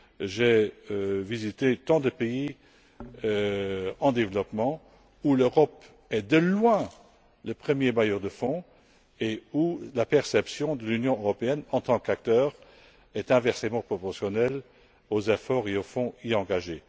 J'ai visité tant de pays en développement où l'Europe est, de loin, le premier bailleur de fonds et où la perception de l'Union européenne, en tant qu'acteur, est inversement proportionnelle aux efforts et aux fonds engagés.